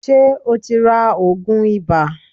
Ṣé ẹ ti ra òògùn ibà.